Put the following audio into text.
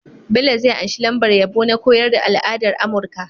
Bello zai anshi lambar yabo na koyar da al'adar amurka